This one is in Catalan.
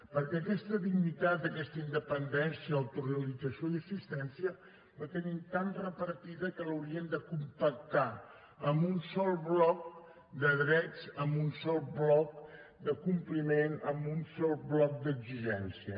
perquè aquesta dignitat aquesta independència autorealització i assistència les tenim tan repartides que les hauríem de compactar en un sol bloc de drets en un sol bloc de compliment en un sol bloc d’exigència